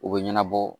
U bɛ ɲɛnabɔ